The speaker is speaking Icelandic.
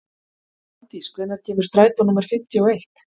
Hafdís, hvenær kemur strætó númer fimmtíu og eitt?